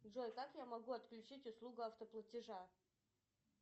джой как я могу отключить услугу автоплатежа